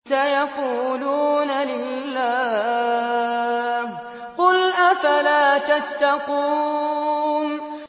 سَيَقُولُونَ لِلَّهِ ۚ قُلْ أَفَلَا تَتَّقُونَ